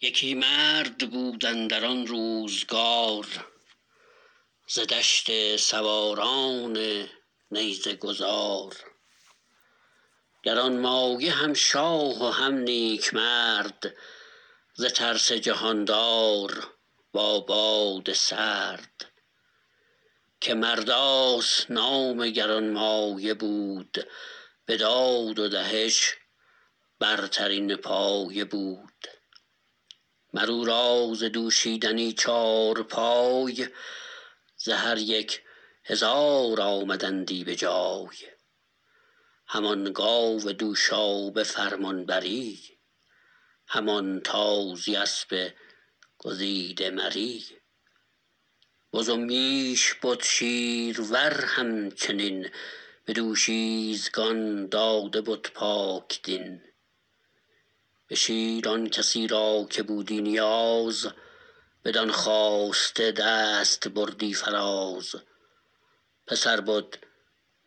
یکی مرد بود اندر آن روزگار ز دشت سواران نیزه گذار گرانمایه هم شاه و هم نیک مرد ز ترس جهاندار با باد سرد که مرداس نام گرانمایه بود به داد و دهش برترین پایه بود مر او را ز دوشیدنی چارپای ز هر یک هزار آمدندی به جای همان گاو دوشا به فرمانبری همان تازی اسب گزیده مری بز و میش بد شیرور همچنین به دوشیزگان داده بد پاکدین به شیر آن کسی را که بودی نیاز بدان خواسته دست بردی فراز پسر بد